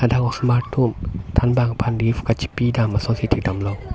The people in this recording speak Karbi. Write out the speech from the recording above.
dak osomar tum than bang phan gift kachepi dam ason si thek dam long.